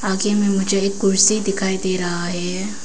आगे मैं मुझे एक कुर्सी दिखाई दे रहा है।